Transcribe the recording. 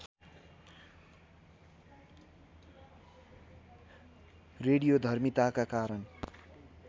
रेडियोधर्मिताका कारण